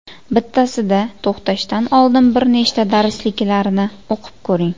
Bittasida to‘xtashdan oldin bir nechta darsliklarni o‘qib ko‘ring.